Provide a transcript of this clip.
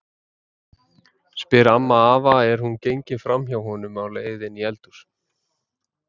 spyr amma afa er hún gengur fram hjá honum á leið inn í eldhús.